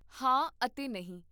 ਹਾਂ ਅਤੇ ਨਹੀਂ